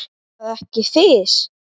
Er það ekki Fis?